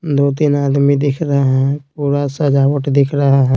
दो-तीन आदमी दिख रहे है पुरा सजावट दिख रहा ।